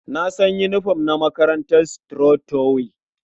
Na san yinifom na makarantar Strong tower.